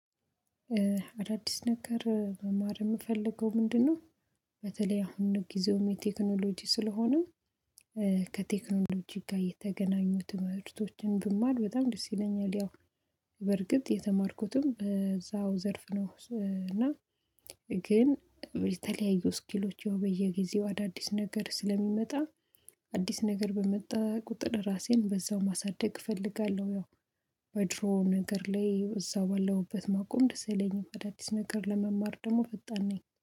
አዳዲስ ነገር መማር የምፈልገው ምንድነው በተለይ አሁን ጊዜው የቴክኖሎጂ ስለሆነ ከቴክኖሎጂ ጋር የተገናኙ ትምህርቶችን ብማር በጣም ደስ ይለኛል። ያው በርግጥ የተማርኩትም በዛው ዘርፍ ነው እና ግን የተለያዩ ስኪሎች ያው በየጊዜው አዳዲስ ነገር ስለሚመጣ አዲስ ነገር በመጣ ቁጥር ራሴን በዛው ማሳደግ እፈልጋለሁ። ያው በድሮ ነገር ላይ እዛው ባለሁበት ማቆም ደስ አይለኝም። አዳዲስ ነገር ለመማር ደግሞ ፈጣን ነኝ።